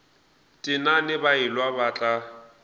tenane ba elwa ba tla